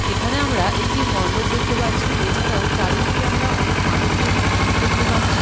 এখানে আমরা একটি মন্ডপ দেখতে পাচ্ছি এছাড়াও চারিদিকে আমরা অনেক মানুষজনের ভিড় দেখতে পাচ্ছি।